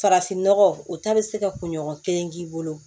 Farafinnɔgɔ o ta bɛ se ka kunɲɔgɔn kelen k'i bolo